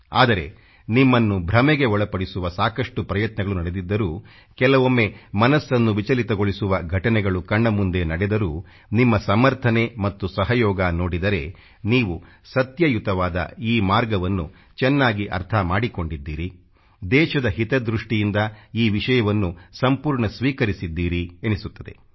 ಆದರೆ ನಿಮ್ಮನ್ನು ಭ್ರಮೆಗೆ ಒಳಪಡಿಸುವ ಸಾಕಷ್ಟು ಪ್ರಯತ್ನಗಳು ನಡೆದಿದ್ದರೂ ಕೆಲವೊಮ್ಮೆ ಮನಸ್ಸನ್ನು ವಿಚಲಿತಗೊಳಿಸುವ ಘಟನೆಗಳು ಕಣ್ಣ ಮುಂದೆ ನಡೆದರೂ ನಿಮ್ಮ ಸಮರ್ಥನೆ ಮತ್ತು ಸಹಯೋಗ ನೋಡಿದರೆ ನೀವು ಸತ್ಯಯುತವಾದ ಈ ಮಾರ್ಗವನ್ನು ಚೆನ್ನಾಗಿ ಅರ್ಥ ಮಾಡಿಕೊಂಡಿದ್ದೀರಿ ದೇಶದ ಹಿತದ ದೃಷ್ಟಿಯಿಂದ ಈ ವಿಷಯವನ್ನು ಸಂಪೂರ್ಣ ಸ್ವೀಕರಿಸಿದ್ದೀರಿ ಎನಿಸುತ್ತದೆ